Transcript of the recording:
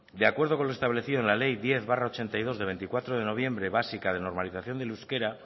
de acuerdo con lo establecido en la ley diez barra mil novecientos ochenta y dos de veinticuatro de noviembre básica de normalización del euskera